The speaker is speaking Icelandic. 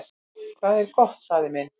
"""Hvað er gott, faðir minn?"""